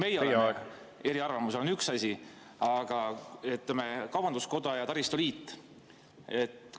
See, et meie oleme eriarvamusel, on üks asi, aga kaubanduskoda ja taristu liit.